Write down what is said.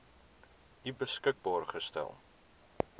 u beskikbaar gestel